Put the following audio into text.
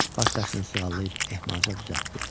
Baş daşını sığallayıb ehmalca düzəltdim.